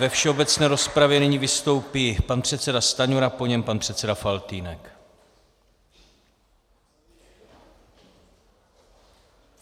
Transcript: Ve všeobecné rozpravě nyní vystoupí pan předseda Stanjura, po něm pan předseda Faltýnek.